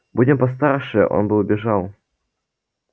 будь он постарше он бы убежал